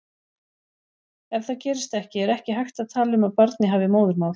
Ef það gerist ekki er ekki hægt að tala um að barnið hafi móðurmál.